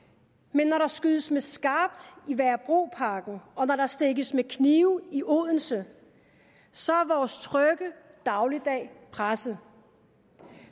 men når der skydes med skarpt i værebroparken og når der stikkes med knive i odense så er vores trygge dagligdag presset